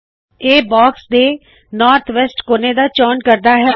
ਇਹ ਬਾਕਸ ਦੇ north west ਕੋਨੇ ਦਾ ਚੋਣ ਕਰਦਾ ਹੈ